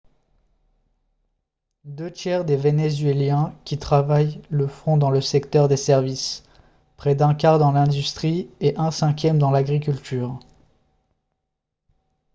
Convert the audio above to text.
deux tiers des vénézuéliens qui travaillent le font dans le secteur des services près d'un quart dans l'industrie et un cinquième dans l'agriculture